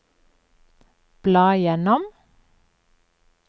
bla gjennom